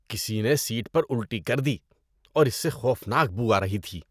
کسی نے سیٹ پر الٹی کر دی اور اس سے خوفناک بو آ رہی تھی۔